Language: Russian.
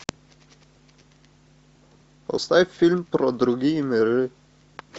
поставь фильм про другие миры